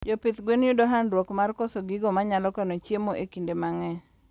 Jopidh gwen yudo handruok mar koso gigo manyalo kano chiemo e kinde mangeny